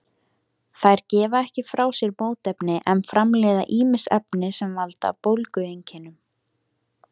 Þær gefa ekki frá sér mótefni en framleiða ýmis efni sem valda bólgueinkennum.